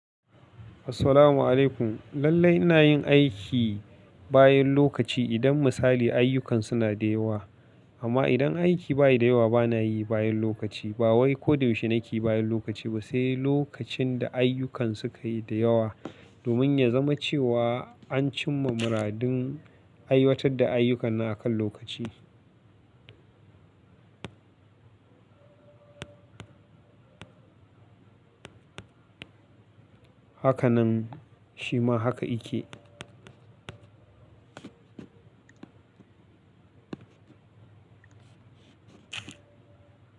Assalamu alaikum. Lallai ina yin aiki bayan lokaci, idan misali ayyukan suna da yawa. Amma idan aiki bayi da yawa, bana yi bayan lokaci. Ba wai ko da yaushe nake yi bayan lokaci ba, sai lokacin da ayyukan suka yi da yawa domin ya zama cewa, an cimma muradin aiwatar da ayyukan na akan lokaci. Haka nan, shima haka yake.